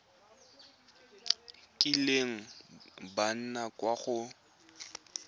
kileng ba nna kwa go